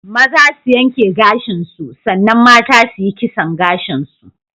Maza su yanke gashin su san nan mata su yi kisson gashin su.